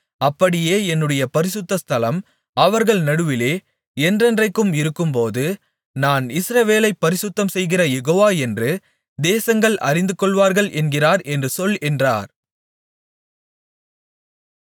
அப்படியே என்னுடைய பரிசுத்த ஸ்தலம் அவர்கள் நடுவிலே என்றென்றைக்கும் இருக்கும்போது நான் இஸ்ரவேலைப் பரிசுத்தம்செய்கிற யெகோவா என்று தேசங்கள் அறிந்துகொள்வார்கள் என்கிறார் என்று சொல் என்றார்